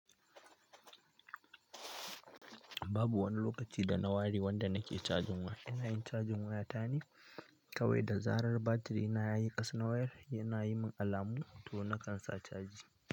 Babu wani lokaci da na ware, wanda nake cajin wayata ina yin cajin wayata ne. Kawai da zarar batiri na ya yi ƙasa na wayar yana yi min alamu to na kan sa caji.